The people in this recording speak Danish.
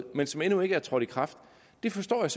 men som endnu ikke er trådt i kraft det forstår jeg